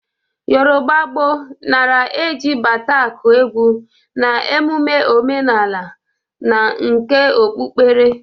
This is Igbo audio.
Yọrụba gboo nara e ji bata akụ egwu na emume omenala na nke okpukpere.